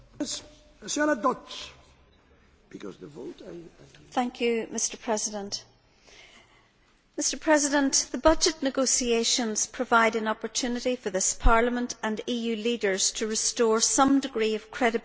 Mr President, the budget negotiations provide an opportunity for this Parliament and EU leaders to restore some degree of credibility against the backdrop of the continuing economic crisis which engulfs the eurozone